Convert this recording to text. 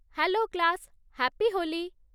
Hello class, happy Holi!